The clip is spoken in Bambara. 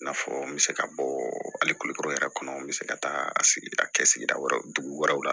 I n'a fɔ n bɛ se ka bɔ hali kulukɔrɔ yɛrɛ kɔnɔ n bɛ se ka taa a sigi a kɛ sigida wɛrɛ dugu wɛrɛ la